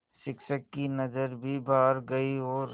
शिक्षक की नज़र भी बाहर गई और